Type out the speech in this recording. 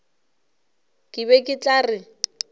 ke be ke tla re